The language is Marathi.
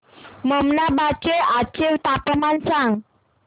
ममनाबाद चे आजचे तापमान सांग